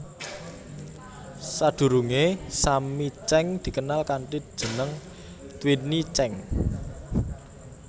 Sadhurungé Sammi Cheng dikenal kanthi jeneng Twinnie Cheng